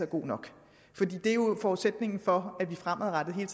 god nok det er jo forudsætningen for at vi fremadrettet hele